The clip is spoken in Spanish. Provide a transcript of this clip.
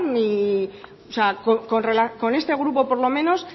con este grupo por lo menos